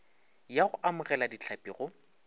ya go amogela dihlapi go